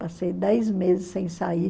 Passei dez meses sem sair.